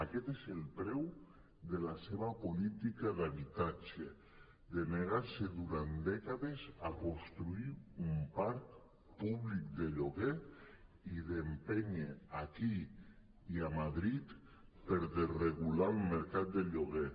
aquest és el preu de la seva política d’habitatge de negar se durant dècades a construir un parc públic de lloguer i d’empènyer aquí i a madrid per desregular el mercat de lloguer